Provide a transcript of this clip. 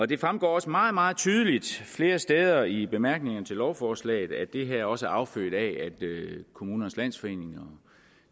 det fremgår meget meget tydeligt flere steder i bemærkningerne til lovforslaget at det her også er affødt af at kommunernes landsforening og